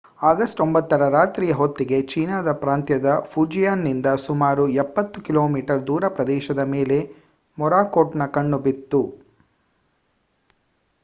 August 9 ರ ರಾತ್ರಿಯ ಹೊತ್ತಿಗೆ ಚೀನಾದ ಪ್ರಾಂತ್ಯದ ಫುಜಿಯಾನ್‌ನಿಂದ ಸುಮಾರು ಎಪ್ಪತ್ತು ಕಿಲೋಮೀಟರ್ ದೂರ ಪ್ರದೇಶದ ಮೇಲೆ ಮೊರಾಕೋಟ್‌ನ ಕಣ್ಣು ಬಿತ್ತು